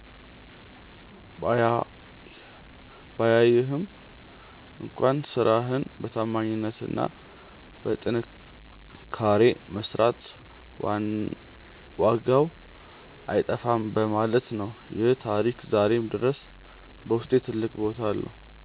ባያይህም እንኳን ስራህን በታማኝነትና በጥንካሬ መስራት ዋጋው አይጠፋም በማለት ነው። ይህ ታሪክ ዛሬም ድረስ በውስጤ ትልቅ ቦታ አለው።